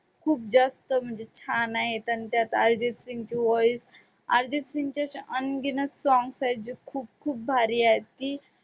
खूप जास्त म्हणजे छान आहेत आणि त्यात अर्जितसिंगचं voice अर्जितसिंगचे songs आहेत जे खूप खूप भारी आहेत की